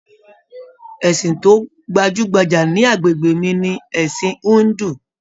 Ẹsìn to gbajúgbajà ní agbègbè mi ni ẹsin hindu.